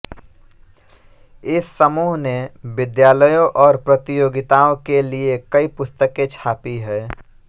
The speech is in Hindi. इस समूह ने विद्यालयों और प्रतियोगिताओं के लिए कई पुस्तकें छापी हैं